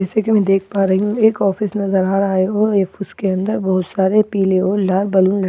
जैसे कि मैं देख पा रही हूं एक ऑफिस नजर आ रहा है और एक उसके अंदर बहुत सारे पीले और लाल बलून लटके हुए नजर--